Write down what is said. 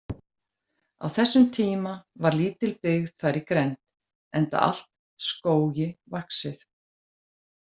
Á þessum tíma var lítil byggð þar í grennd, enda allt skógi vaxið.